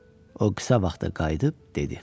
O qısa vaxtı qayıdıb dedi: